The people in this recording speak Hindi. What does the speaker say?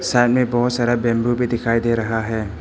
सामने बहोत सारा बैंबू भी दिखाई दे रहा है।